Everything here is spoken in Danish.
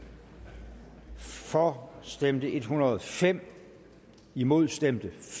for stemte en hundrede og fem imod stemte